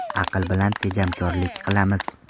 Aql bilan tejamkorlik qilamiz.